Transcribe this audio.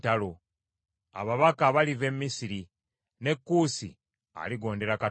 Ababaka baliva e Misiri, ne Kuusi aligondera Katonda.